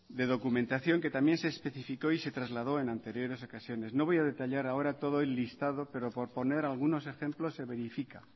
de documentación que también se especificó y se trasladó en anteriores ocasiones no voy a detallar ahora todo el listado pero por poner algunos ejemplos se verifica